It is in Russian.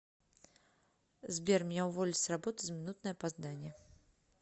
сбер меня уволили с работы за минутное опоздание